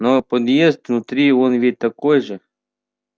но подъезд внутри он ведь такой же